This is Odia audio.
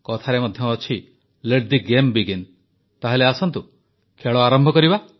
କଥାରେ ମଧ୍ୟ ଅଛି ଲେଟ୍ ଦି ଗେମ୍ ବିଗିନ୍ ତାହେଲେ ଆସନ୍ତୁ ଖେଳ ଆରମ୍ଭ କରିବା